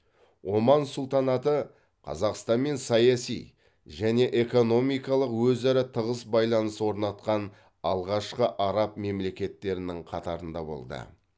оман сұлтанаты қазақстанмен саяси және экономикалық өзара тығыз байланыс орнатқан алғашқы араб мемлекеттерінің қатарында болды